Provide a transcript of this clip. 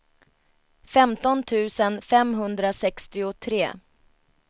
femton tusen femhundrasextiotre